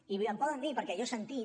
i em poden dir perquè jo he sentit